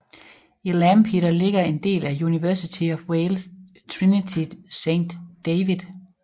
I Lampeter ligger en del af University of Wales Trinity Saint David